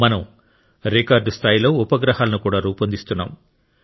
మనం రికార్డ్ ఉపగ్రహాలను కూడా రూపొందిస్తున్నాం